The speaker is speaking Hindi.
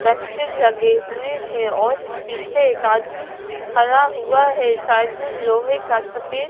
वैक्सीन लगे हुए हैं और पीछे एक आदमी खड़ा हुआ है साइड में लोहे का सफेद--